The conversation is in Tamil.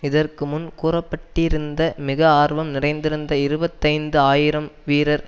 இதற்குமுன் கூற பட்டிருந்த மிக ஆர்வம் நிறைந்திருந்த இருபத்தி ஐந்து ஆயிரம் வீரர்